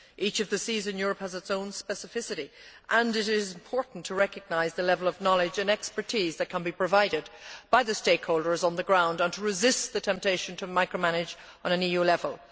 Each of the seas in Europe has its own specificity, and it is important to recognise the level of knowledge and expertise that can be provided by the stakeholders on the ground and to resist the temptation to micro manage on an EU level.